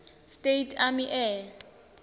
states army air